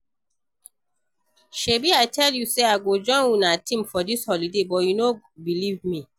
Shebi I tell you say I go join una team for dis holiday but you no believe me